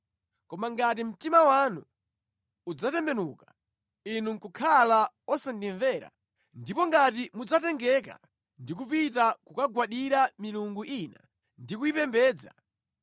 Koma ngati mtima wanu udzatembenuka, inu nʼkukhala osandimvera, ndipo ngati mudzatengeka ndi kupita kukagwadira milungu ina ndi kuyipembedza,